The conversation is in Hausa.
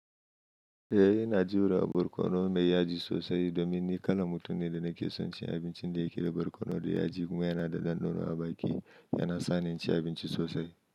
Eh, ina jira borkono mai yaji sosai domin ni kalan mutum ne da nake son cin abincin da yake da borkono da yaji kuma yana da ɗanɗano a baki, yana sa ni ci abinci sosai.